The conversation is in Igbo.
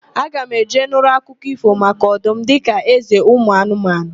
Aga m eje nụrụ akụkọ ífò maka ọdum dịka ézē ụmụanụmanụ.